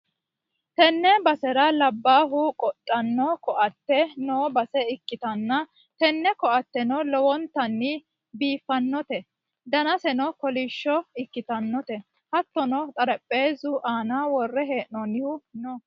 tenne basera labbahu qodhanno ko'atte noo base ikkanna, tini ko'atteno lowontanni biiffannote, danaseno kolishsho ikkitinoti hattono xarapheezzu aana worre hee'noonnihu no.